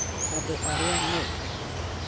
Andũ arĩa neķ